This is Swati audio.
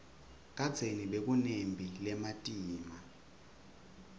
kadzeni bekunetimphi letimatima